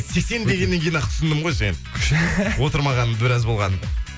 сексен дегеннен кейін ақ түсіндім ғой сені отырмағаны біраз болғанын